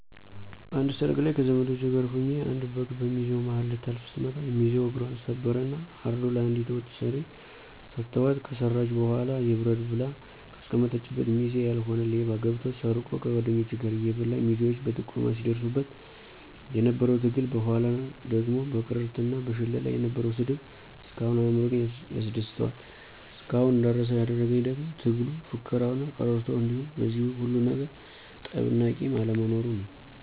አንድ ሰርግ ላይ ከዘመዶቸ ጋር ሁኘ አንድ በግ በሚዜው ማሀል ልታልፍ ስትመጣ ሚዚው እግፘን ሰበረ እና አርዶ ለአንዲት ወጥ ሰሪ ሰተዋት ከሰራች በኋላ ይብረድ ብላ ከአስቀመጠችበት ሚዜ ያልሆነ ሌባ ገብቶ ሰርቆ ከጓድኞቹ ጋር እየበላ ሚዜዎች በጥቆማ ሲድርሱበት የነበረው ትግል በኋላ ደግሞ በቅርርት እና በሽለላ የነበረው ስድብ እስካሁን አእምሮየን ያስደስተዋል። እስካሁን እንዳረሳው ያደረግኝ ደግሞ ትግሉ፣ ፉከራው እና ቅርርቶው እንዲሁም በዚህ ሁሉ ነገር ጠብ እና ቂም አለመኖሩ ነው።